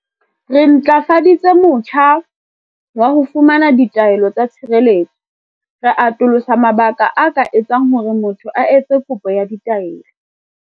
Re ntlafaditse motjha wa ho fumana ditaelo tsa tshireletso, ra atolosa mabaka a ka etsang hore motho a etse kopo ya taelo.